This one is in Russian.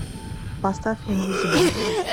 поставь инвизибл